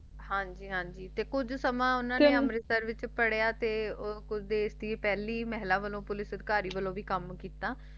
ਹਾਂਜੀ ਹਾਂਜੀ ਤੇ ਕੁਜ ਸਮੇਂ ਉਨ੍ਹਾਂ ਨੇ ਅਮ੍ਰਿਤਸਰ ਵਿਚ ਪੜ੍ਹਿਆ ਤੇ ਕੁਜ ਪਹਿਲੀ ਮਹਿਲਾ ਪੁਲਿਸ ਸੰਸਕਾਰੀ ਵੱਲੋ ਭੀ ਕਾਮ ਕਿੱਤਾ